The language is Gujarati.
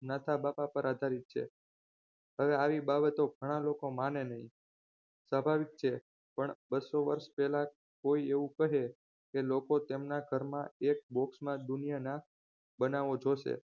નાથા બાપા પર આધારિત છે હવે આવી બાબતો ઘણા લોકો માને નહીં. સ્વભાવિક છે પણ બસો વર્ષ પહેલાં કોઈ એવું કહે કે લોકો તેમના ઘરમાં એક બોક્સમાં દુનિયાના બનાવો જોશે